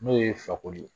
N'o ye fakoli ye